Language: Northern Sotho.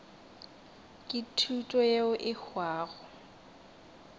ke thuto yeo e hwago